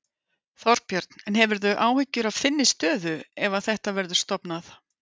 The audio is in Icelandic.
Þorbjörn: En hefurðu áhyggjur af þinni stöðu ef að þetta verður stofnað?